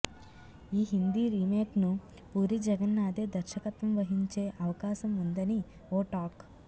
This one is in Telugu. ఈ హిందీ రీమేక్ను పూరి జగన్నాథే దర్శకత్వం వహించే అవకాశం ఉందని ఓ టాక్